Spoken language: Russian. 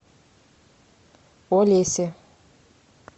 олесе